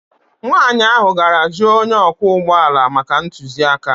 Nwanyị ahụ gara jụọ onye ọkwọ ụgbọ ala maka ntụziaka